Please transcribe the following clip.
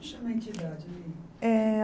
Como chama a entidade? Eh